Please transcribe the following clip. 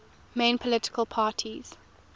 main political parties